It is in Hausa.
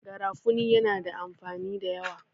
garafuni yana da amfani da yawa